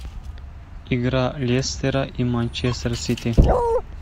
игра лестера и манчестер сити